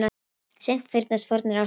Seint fyrnast fornar ástir.